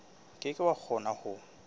ke ke wa kgona ho